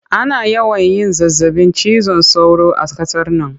Ana yawan yin zazzabin cizon sauro a qasar nan